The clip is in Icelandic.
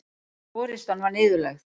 Forystan var niðurlægð